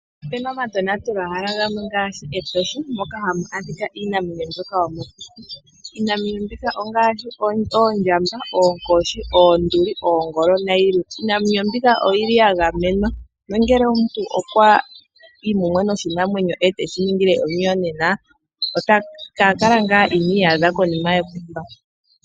Opena omatonatelwahala gamwe ngaashi Etosha moka hamu adhika iinamwenyo mbyoka yomokuti, iinamwenyo mbika ongaashi oondjamba, oonkoshi, oonduli, oongolo nayilwe, iinamwenyo mbika oyili ya gamenwa nongele omuntu okwa ningile oshinamwenyo omuyonena ka kala ngaa ini iyadha konima yekumba.